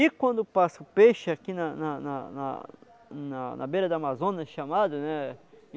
E quando passa o peixe aqui na na na na na beira da Amazônia chamado, né?